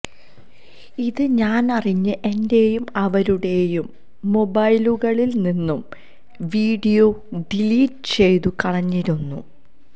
ഇത് ഞാനറിഞ്ഞ് എന്റെയും അവരുടെയും മൊബൈലുകളിൽ നിന്നും വീഡിയോ ഡിലീറ്റ് ചെയ്തു കളഞ്ഞിരുന്നു